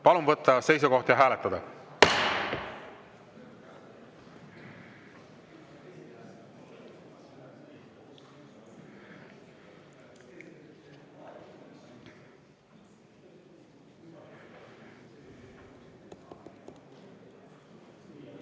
Palun võtta seisukoht ja hääletada!